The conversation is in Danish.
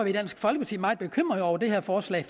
i dansk folkeparti meget bekymrede over det her forslag